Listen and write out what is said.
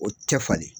O tɛ falen